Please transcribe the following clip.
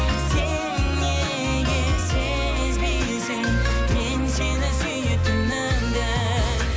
сен неге сезбейсің мен сені сүйетінімді